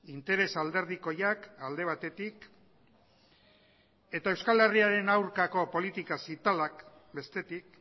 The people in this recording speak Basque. interes alderdikoiak alde batetik eta euskal herriaren aurkako politika zitalak bestetik